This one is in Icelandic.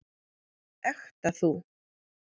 Ekta þú.